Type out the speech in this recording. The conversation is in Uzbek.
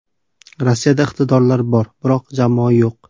Rossiyada iqtidorlar bor, biroq jamoa yo‘q.